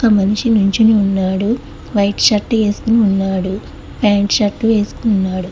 అ మనిషి నించుని ఉన్నాడు వైట్ షర్ట్ వేసుకుని ఉన్నాడు ప్యాంట్ షర్ట్ వేసుకుని ఉన్నాడు.